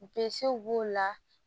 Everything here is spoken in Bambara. b'o la